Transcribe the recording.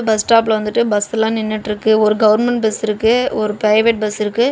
Bus ஸ்டாப்ல வந்துட்டு bus எல்லா நின்னுட்டிருக்கு ஒரு கவர்மெண்ட் பஸ் இருக்கு ஒரு பிரைவேட் பஸ் இருக்கு.